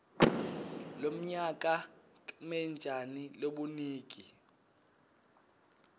lomnyaka kmetjani lobunigi